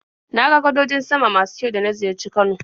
Na ga gadojin sama masu kyau da na ziyarci Kano.